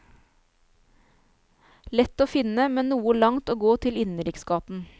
Lett å finne, men noe langt å gå til innenriksgaten.